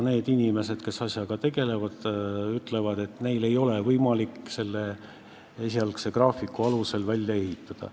Need inimesed, kes asjaga tegelevad, ütlevad, et neil ei ole võimalik esialgse graafiku alusel piiri välja ehitada.